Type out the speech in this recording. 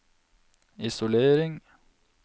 isolering